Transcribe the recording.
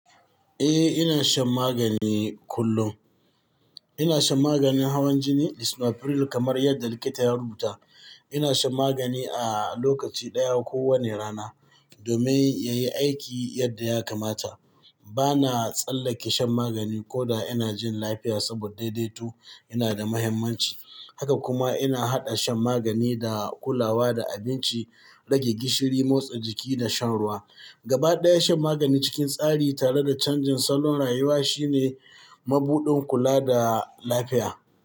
Eh, ina shan magani kullum. Ina shan maganin hawan jini lisinopril, kamar yadda likita ya rubuta. Ina shan magani a lokaci ɗaya kowane rana domin ya yi aiki yadda ya kamata. Ba na tsallake shan magani ko da ina jin lafiya, saboda daidaito yana da mahimmanci. Haka kuma ina haɗa shan magani da kulawa da abinci, rage gishiri, motsa jiki da shan ruwa. Gabaɗaya shan magani cikin tsari tare da canjin salon rayuwa shine mabuɗin kula da lafiya.